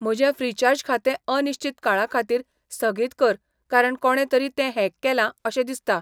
म्हजें फ्रीचार्ज खातें अनिश्चित काळा खातीर स्थगीत कर कारण कोणे तरी तें हॅक केलां अशें दिसता.